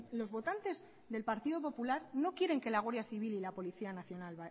los votantes del partido popular no quieren que la guardia civil y la policía nacional